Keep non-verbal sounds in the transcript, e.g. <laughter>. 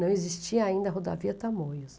Não existia ainda a Rodovia. <unintelligible>